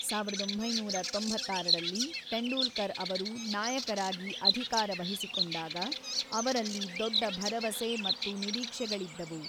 ಸಾವಿರದ ಒಂಬೈನೂರ ತೊಂಬತ್ತಾರರಲ್ಲಿ ತೆಂಡೂಲ್ಕರ್ ಅವರು ನಾಯಕರಾಗಿ ಅಧಿಕಾರ ವಹಿಸಿಕೊಂಡಾಗ, ಅವರಲ್ಲಿ ದೊಡ್ಡ ಭರವಸೆ ಮತ್ತು ನಿರೀಕ್ಷೆಗಳಿದ್ದವು.